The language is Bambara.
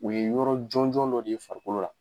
U ye yɔrɔ jɔnjɔn dɔ de ye farikolo la.